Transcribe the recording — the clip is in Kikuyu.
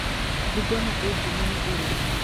Bungoma ĩĩ ngumo nĩ ũrĩmi.